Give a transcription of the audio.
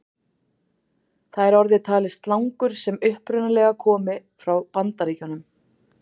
Þar er orðið talið slangur sem upprunalega komi frá Bandaríkjunum.